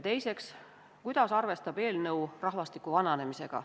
Teiseks, kuidas arvestab eelnõu rahvastiku vananemisega.